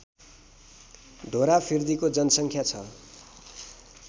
ढोरफिर्दीको जनसङ्ख्या छ